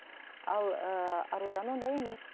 ал ыыы аружан ондай емес